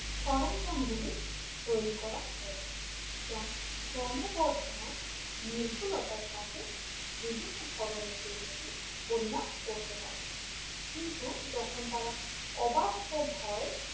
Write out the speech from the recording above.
সরঞ্জাম গুলি তৈরি করা হয়েছে যা ক্রমবর্ধমান নির্ভুলতার সাথে বিভিন্ন ধরনের দুর্নীতি পরিমাপ করতে পারে কিন্তু যখন তারা অবাস্তব হয়